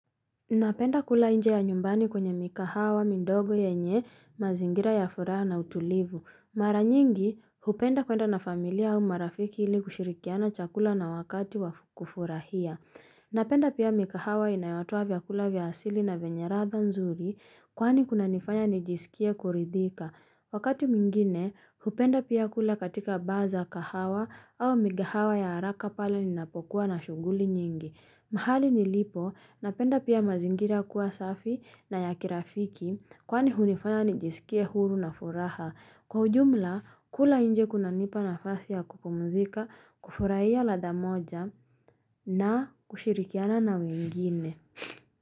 Napenda kula nje ya nyumbani kwenye mikahawa, midogo yenye, mazingira ya furaha na utulivu. Mara nyingi, hupenda kuenda na familia au marafiki ili kushirikiana chakula na wakati wa kufurahia. Napenda pia mikahawa inayotoa vyakula vya asili na vyenya ladha nzuri, kwani kunanifanya nijisikie kuridhika. Wakati mwingine, hupenda pia kula katika baa za kahawa au mikahawa ya haraka pala ninapokuwa na shughuli nyingi. Mahali nilipo napenda pia mazingira kuwa safi na ya kirafiki kwani hunifanya nijisikie huru na furaha. Kwa ujumla, kula nje kunanipa nafasi ya kupumzika, kufurahia ladha moja na kushirikiana na wengine.